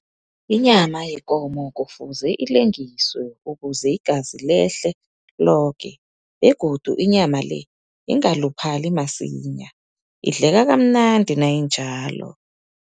Inyama yekomo kufuze ilengiswe, ukuze igazi lehle loke. Begodu inyama le, ingaluphali masinya, idleka kamnandi nayinjalo.